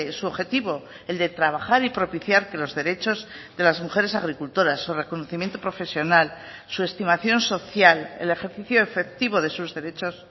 su objetivo el de trabajar y propiciar que los derechos de las mujeres agricultoras su reconocimiento profesional su estimación social el ejercicio efectivo de sus derechos